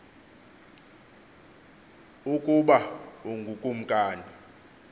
ukuba ungu kumkani